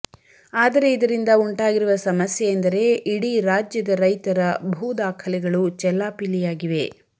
ಆದರೆ ಇದರಿಂದ ಉಂಟಾಗಿರುವ ಸಮಸ್ಯೆ ಎಂದರೆ ಇಡೀ ರಾಜ್ಯದ ರೈತರ ಭೂದಾಖಲೆಗಳು ಚೆಲ್ಲಾಪಿಲ್ಲಿಯಾಗಿವೆ